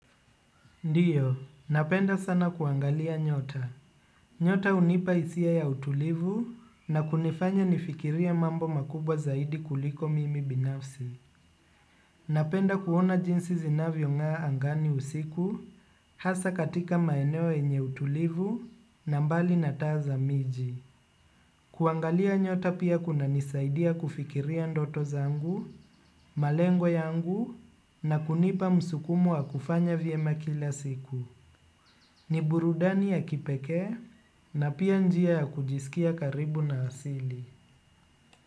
Ndiyo, napenda sana kuangalia nyota. Nyota hunipa hisia ya utulivu na kunifanya nifikirie mambo makubwa zaidi kuliko mimi binafsi. Napenda kuona jinsi zinavyong'aa angani usiku hasa katika maeneo yenye utulivu na mbali na taa za miji. Kuangalia nyota pia kunanisaidia kufikiria ndoto zangu, malengo yangu na kunipa msukumo wa kufanya vyema kila siku. Ni burudani ya kipekee na pia njia ya kujisikia karibu na asili.